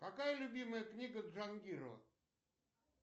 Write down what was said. какая любимая книга джангирова